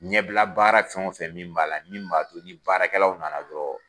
Ɲɛbila baara fɛn wo fɛn min b'a la min b'a to ni baarakɛlaw nana dɔrɔn